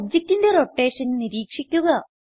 ഒബ്ജക്റ്റിന്റെ റോട്ടേഷൻ നിരീക്ഷിക്കുക